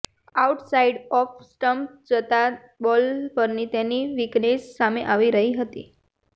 outside of stump જતા ball પરની તેની વિકનેસ સામે આવી ગઈ હતી